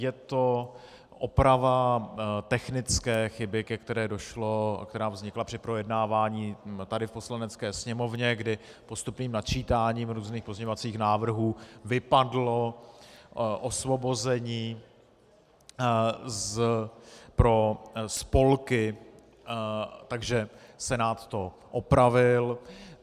Je to oprava technické chyby, která vznikla při projednávání tady v Poslanecké sněmovně, kdy postupným načítáním různých pozměňovacích návrhů vypadlo osvobození pro spolky, takže Senát to opravil.